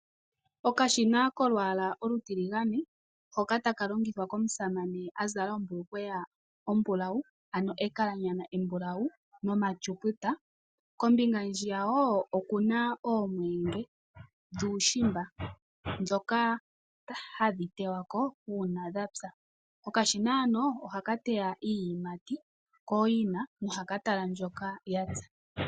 Okashina kolwaala olutiligane hoka taka longithwa komusamane a zala ombulukweya ombulawu. Ano ekalanyana embulawu noma nomatsuputa. Kombinga hwiya wo oku na oomweenge dhuushimba dhoka hadhi tewako una dhapya. Okashina hano ohaka teya iiyimati kooyina nohaka tala mbyoka yapya.